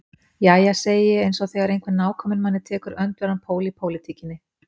Jæja, segi ég eins og þegar einhver nákominn manni tekur öndverðan pól í pólitíkinni.